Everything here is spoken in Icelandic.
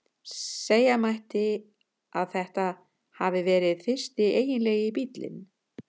Segja mætti að þetta hafi verið fyrsti eiginlegi bíllinn.